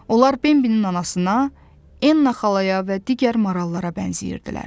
Onlar Bembilin anasına, en-naxalara və digər marallara bənzəyirdilər.